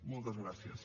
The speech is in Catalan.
moltes gràcies